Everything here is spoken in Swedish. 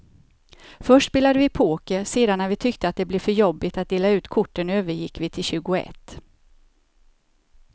Först spelade vi poker, sedan när vi tyckte att det blev för jobbigt att dela ut korten övergick vi till tjugoett.